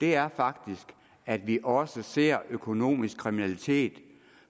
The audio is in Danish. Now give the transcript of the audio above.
her er faktisk at vi også ser økonomisk kriminalitet